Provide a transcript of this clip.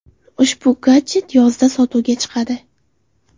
Ushbu gadjet yozda sotuvga chiqadi.